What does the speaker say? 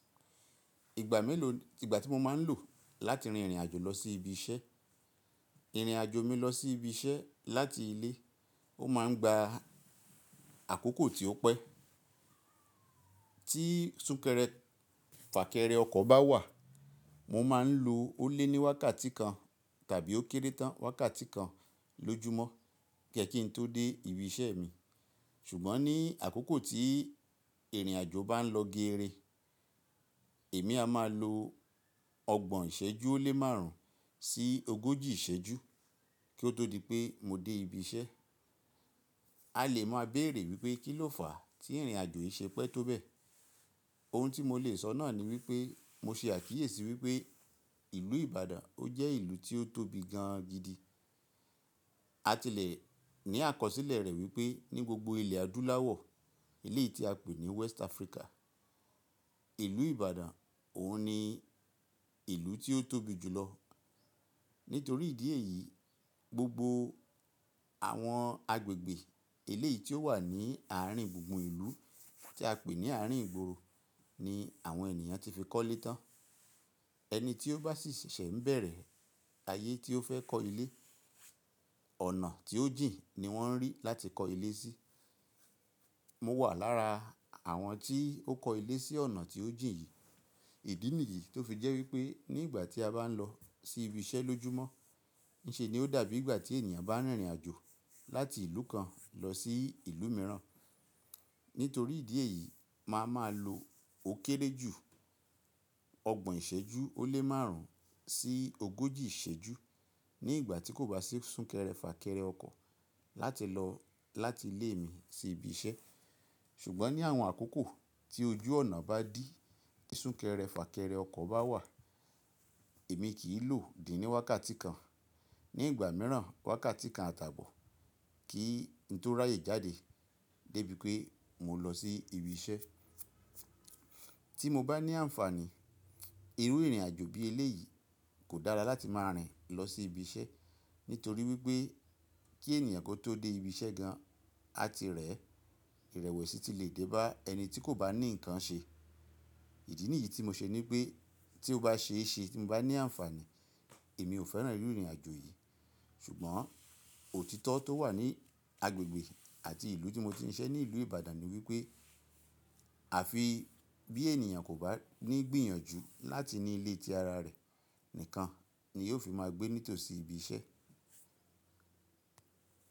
Ìgbà mélòó ìgbà tí mo máa ń lò láti rìnrìn àjò lọ sí ibi iṣẹ́. Ìrìn àjò mi lọ sí ibi iṣẹ́ láti ilé ó máa ń gba àkókò tí ó pẹ́. Tí súnkẹrẹ fàkẹrẹ ọkọ̀ bá wà mo máa ń lo ó lé ní wákàtí kan tàbí ó kéré tán wákàtí kan lójoomọ́ kẹ kín tó dé ibi iṣẹ́ mi. Ṣùgbọ́n ní àkókò tí ìrìn àjò bá ń lọ géèrè, èmi a máa lo ọgbọ̀n ìṣẹ́jú ó lé márùn ún sí ogójì ìṣẹ́jú kí ó tó di pé mo dé ibi iṣẹ́. A lè máa béèrè wípé kíló fà á tí ìrìn àjò yìí ṣe pẹ́ tó bẹ́ẹ̀? Ohun tí mo lè sọ náà ni wípé mo ṣe àtíyèsí wípé ìlú Ìbàdàn ó jẹ́ ìlú tí ó tóbi gan gidi. A ti lè ní àkọsílẹ̀ rẹ̀ wípé ní gbogbo ilẹ̀ adúláwọ̀, ilẹ̀ tí a pè ní West Africa, ìlú Ìbàdàn òun ni ìlú tí ó tóbi jù lọ. Nítorí ìdí èyí, gbogbo àwọn agbègbè eleyìí tí ó wà ní ààrin gbùngbùn ìlú tí a pè ní ààrin ìgboro ni àwọn ènìyàn ti fi kọ́lé tán. Ẹni tí ó bá sì ṣẹ̀ṣẹ̀ ń bẹ̀rẹ̀ ayé tí ó fẹ́ kọ́ ilé, ọ̀nà tí ó jìn ni wọ́n rí láti kọ́ ilé sí. Mo wà lára àwọn tí ó kọ́ ilé sí ọ̀nà tí ó jìn yìí. Ìdí nìyí tó fi jẹ́ wípé ní ìgbà tí a bá ń lọ sí ibi iṣẹ́ lójoomọ́, ṣé ni ó dàbí ìgbà tí ènìyàn bá ń rìnrìn àjò láti ìlú kan lọ sí ìlú mìíràn. Nítorí ìdí èyí màá máa lo ó kéré jù ọgbọ̀n ìṣẹ́jú ó lé márùn ún sí ogójì ìṣẹ́jú ní ìgbà tí kò bá sí súnkẹrẹ fàkẹrẹ ọkọ̀ láti lọ láti ilé mi sí ibi iṣẹ́. Ṣùgbọ́n ní àwọn àkókò tí ojú ọ̀nà bá dí tí súnkẹrẹ fàkẹrẹ ọkọ̀ bá wà, èmi kì í lò díì ní wákàtí kan. Ní ìgbà mìíràn wákàtí kan àtàbọ̀ kí n tó ráyè jáde débi pé mo lọ sí ibi iṣẹ́. Tí mo bá ní àǹfààní, irú ìrìn àjò bí eléyìí kò dára láti máa rìn lọ sí ibi iṣẹ́. Nítorí wípé kí ènìyàn kó tó dé ibi iṣẹ́ gan, a ti rẹ̀ ìrẹ̀wẹ̀sì ti lè dẹ́ba ẹni tí kò bá ní nǹkan ṣe. Ìdí nìyí tí mo ṣe ní pé tí ó bá ṣe é ṣe tí mo bá ní àǹfààní, èmi ò fẹ́ràn irú ìrìn àjò yìí. Ṣùgbọ́n òtítọ́ tó wà ní agbègbè àti ìlú tí mo ti ń iṣẹ́ ní ìlú Ìbàdàn ni wípé àfi bí ènìyàn kò bá ní gbìyànjú láti ní ilé tí ara rẹ̀ nìkan ni yóò fi máa gbé nítòsí ibi iṣẹ́.